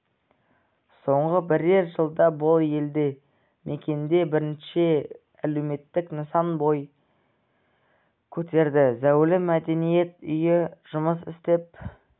соңғы бірер жылда бұл елді мекенде бірнеше әлеуметтік нысан бой көтерді зәулім мәдениет үйі жұмыс істеп